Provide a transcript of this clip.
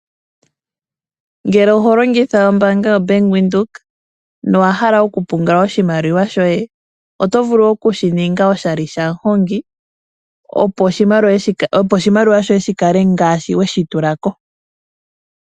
Ngele oho longitha ombaanga yo Bank Windhoek , no wa hala oku pungula oshimaliwa shoye oto vulu oku shi ninga oshali shaMuhongi, opo oshimaliwa shoye shi kale ngaashi we shi tula ko.